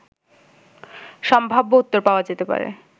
সম্ভাব্য উত্তর পাওয়া যেতে পারে